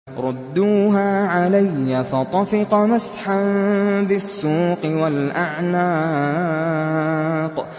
رُدُّوهَا عَلَيَّ ۖ فَطَفِقَ مَسْحًا بِالسُّوقِ وَالْأَعْنَاقِ